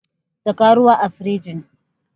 Saka ruwa a firinji